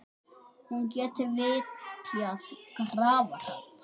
Hún geti vitjað grafar hans.